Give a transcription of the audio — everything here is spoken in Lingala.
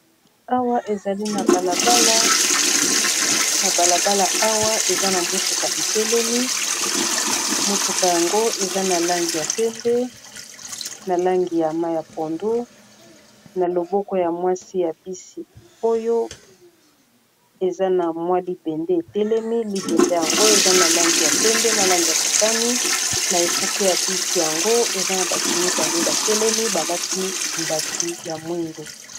Awa ezali na balabala awa eza na mutuka litelemi motuka yango eza na langi ya pembe na langi ya ma ya pondu na loboko ya mwasi ya bisi oyo eza na mwa libende etelemi libende yango eza na langi ya pembe na langi ya motani na ekuke ya bisi yango eza na bato mibale batelemi balati mbati ya mwindu